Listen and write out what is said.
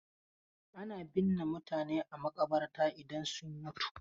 Ana binne mutane a maƙabarta idan sun mutu.